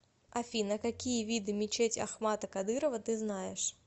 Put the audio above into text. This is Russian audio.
афина какие виды мечеть ахмата кадырова ты знаешь